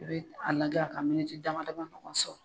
I bi a lagɛ a ka dama dama ɲɔgɔn sɔrɔ